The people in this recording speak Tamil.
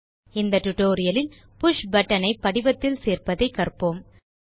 இந்த டியூட்டோரியல் இல் புஷ் பட்டன் ஐ படிவத்தில் சேர்ப்பதை கற்போம்